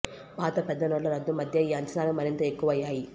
పాత పెద్ద నోట్ల రద్దు మధ్య ఈ అంచనాలు మరింత ఎక్కువయ్యాయి